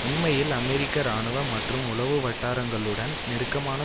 உண்மையில் அமெரிக்க இராணுவ மற்றும் உளவு வட்டாரங்களுடன் நெருக்கமான